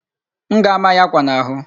M ga-ama ya akwa n'ahụ.